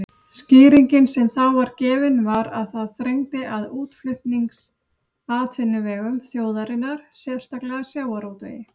Skýringin sem þá var gefin var að það þrengdi að útflutningsatvinnuvegum þjóðarinnar, sérstaklega sjávarútvegi.